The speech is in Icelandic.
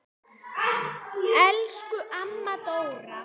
Elsku amma Dóra.